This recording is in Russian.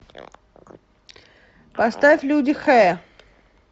поставь люди хэ